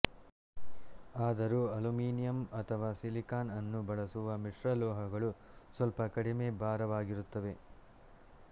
ಆದರೂ ಅಲ್ಯೂಮಿನಿಯಂ ಅಥವಾ ಸಿಲಿಕಾನ್ಅನ್ನು ಬಳಸುವ ಮಿಶ್ರಲೋಹಗಳು ಸ್ವಲ್ಪ ಕಡಿಮೆ ಭಾರವಾಗಿರುತ್ತವೆ